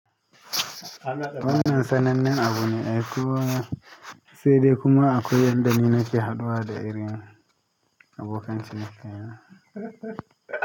Wannan sanannen abu ne ai kowa sai dai kuma akwai yadda ni nake haɗuwa da irin abokan ciniki na.